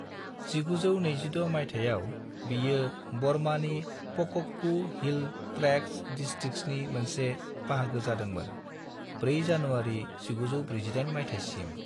1926 मायथाइयाव, बेयो बर्मानि पाकक्कू हिल ट्रेक्त्स डिस्ट्रिक्ट्सनि मोनसे बाहागो जादोंमोन 4 जानुवारि 1948 मायथायसिम।